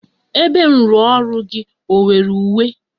Ebe nrụọrụ gị ọ nwere uwe?